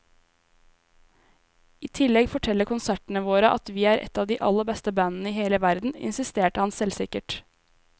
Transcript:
I tillegg forteller konsertene våre at vi er et av de aller beste bandene i hele verden, insisterer han selvsikkert.